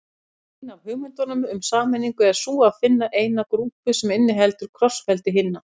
Ein af hugmyndunum um sameiningu er sú að finna eina grúpu sem inniheldur krossfeldi hinna.